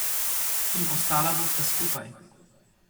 In ostala bosta skupaj.